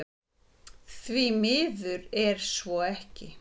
Því miður er svo ekki